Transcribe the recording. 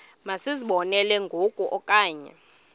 masizibonelele ngoku okanye